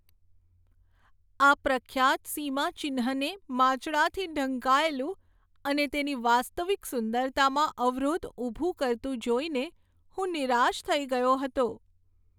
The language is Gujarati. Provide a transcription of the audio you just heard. આ પ્રખ્યાત સીમાચિહ્નને માંચડાથી ઢંકાયેલું અને તેની વાસ્તવિક સુંદરતામાં અવરોધ ઊભો કરતું જોઈને હું નિરાશ થઈ ગયો હતો.